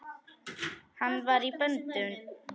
Hann var í böndum.